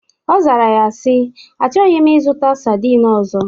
Ọ zara ya si: Achọghị m ịzụta sardin ọzọ